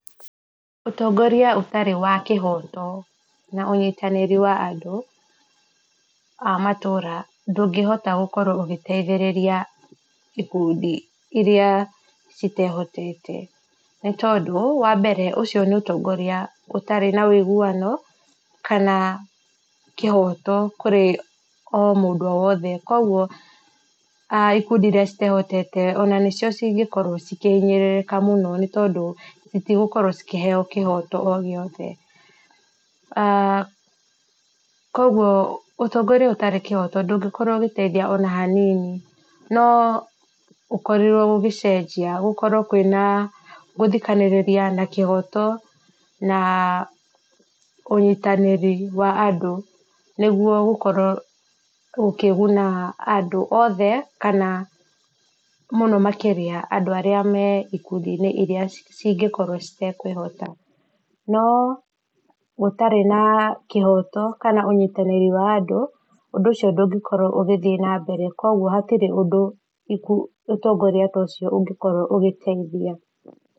Ũtongoria ũtarĩ wa kĩhoto na ũnyitanĩru wa matũũra ndũngĩhota gũkorwo ĩgĩteithĩrĩria ikundi itehotete nĩ tondũ ũcio nĩ ũtongoria ũtarĩ na wũiguano kana kĩhoto kũrĩ o mũndũ o wothe, kwoguo ikundi iria citehotete ona nĩcio cikoragwo cihinyĩrĩrĩkĩire mũno nĩ tondũ citigũkorwo ikĩheo kĩhoto o gĩothe, kwoguo ũtongoria ũtarĩ kĩhoto ndũngĩkorwo ũgĩteithia ona hanini, no gũkorirwo gũcenjia gũkorwo kwĩna gũthikanĩrĩria na kĩhoto na ũnyitanĩri wa andũ nĩguo ũkorwo ũkĩguna andũ othe mũno makĩria andũ marĩa marĩ ikundi-inĩ iria cingĩkorwo citekwĩhota no gũtarĩ na kĩhoto kana ũnyitanĩri wa andũ ũndũ ũcio ndũ ngĩkorwo ũgĩthiĩ na mbere kwoguo ũtongoria ũcio ndũngĩkorwo handũ ũngĩteithia.